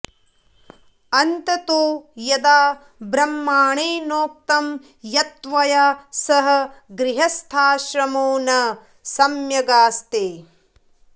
अन्ततो यदा ब्राह्मणेनोक्तं यत्त्वया सह गृहस्थाश्रमो न सम्यगास्ते